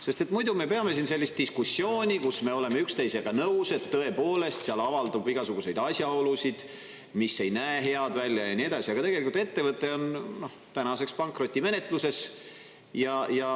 Sest muidu me peame siin sellist diskussiooni, kus me oleme üksteisega nõus, et tõepoolest, seal avaldub igasuguseid asjaolusid, mis ei näe head välja ja nii edasi, aga tegelikult ettevõte on tänaseks pankrotimenetluses.